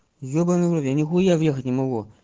ёбанный в рот я нехуя въехать не могу